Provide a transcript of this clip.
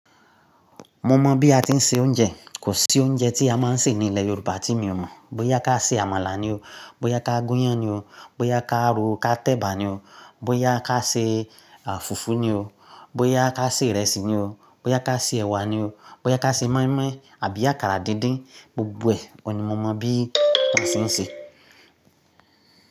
Mo mọ̀ bí a ti ń se oúnjẹ. Kò sí oúnjẹ tí a máa ń sè ní ilẹ̀ Yorùbá tí mi ò mọ̀. Bóyá ká ṣe àmàlà ni o, bóyá ká gúnyán ni o, bóyá ká ro ká tẹ̀bà ni o, bóyá ká ṣe, à, fùfú ni o, bóyá ká ṣe ìrẹsì ni o, bóyá ká ṣe ẹ̀wà ni o, bóyá ká ṣe mọ́ínmọ́ín àbí àkàrà díndín, gbogbo ẹ̀, ọ̀ní mo mọ̀ bí wọn ṣe ń ṣe.